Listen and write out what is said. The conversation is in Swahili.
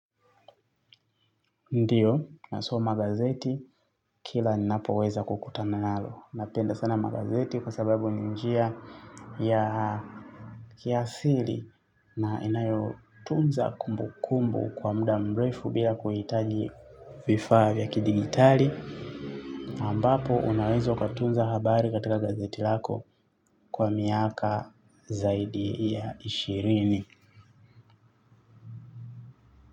Ndiyo, nasoma gazeti kila ninapoweza kukutana nalo. Napenda sana magazeti kwa sababu ni njia ya kiasili na inayotunza kumbu kumbu kwa muda mrefu bila kuhitaji vifaa vya kidigitali. Ambapo unawezo ukatunza habari katika gazeti lako kwa miaka zaidi ya ishirini.